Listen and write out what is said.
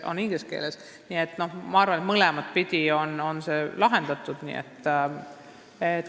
Nii et ma arvan, et mõlemat pidi saab seda probleemi lahendada.